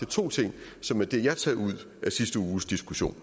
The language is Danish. to ting som er det jeg har taget ud af sidste uges diskussion